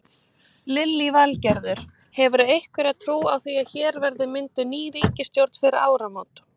Lillý Valgerður: Hefurðu einhverja trú á því að hér verði mynduð ný ríkisstjórn fyrir áramót?